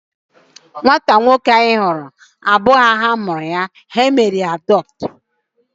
Nwata nwoke ahu ị hụrụ abụghị ha mụrụ ya. Ha mere ya adọptu n'ụlọ ndị enwero nne na nna